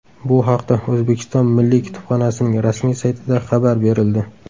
Bu haqda O‘zbekiston Milliy kutubxonasining rasmiy saytida xabar berildi .